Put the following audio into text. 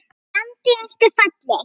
Fjandi ertu falleg